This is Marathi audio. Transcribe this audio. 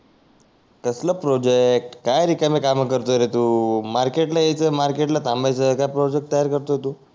कसल प्रोजेक्ट काय रिकामे कामे करतोय रे तू मार्केट ला यायच मार्केट ला थांबायच काय प्रोजेक्ट तयार करतोय तू